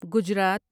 Gujarat